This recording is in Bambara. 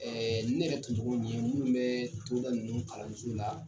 ne yɛrɛ tun cogo minnu bɛ togoda ninnu kalanso la.